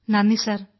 നന്ദി സർ